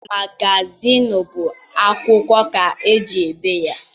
Magazịịnụ bụ akwụkwọ ka eji ebi ya.